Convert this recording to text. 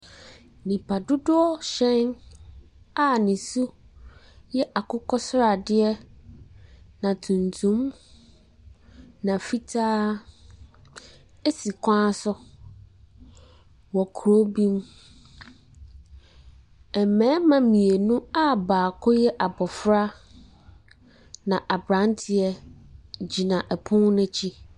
Nnipa dodoɔ hyɛn a ne su yɛ akokɔ sradeɛ na tuntum, na fitaa si kwan so wɔ kuro bi mu. Mmarima mmienu a baako yɛ abɔfra na aberanteɛ gyina pono no akyi.